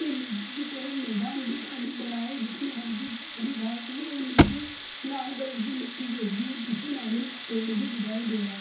नीचे की तरफ मैदान भी खाली पड़ा है जिसमें हल्की सी हरी घास है और नीचे लाल कलर की मिट्टी जैसी पीछे नारियल का पेड़ भी दिखाई दे रहा।